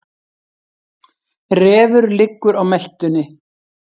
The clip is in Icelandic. Refur liggur á meltunni.